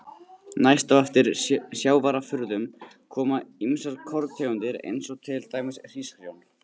Næst á eftir sjávarafurðum koma ýmsar korntegundir eins og til dæmis hrísgrjón.